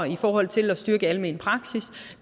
i forhold til at styrke almen praksis og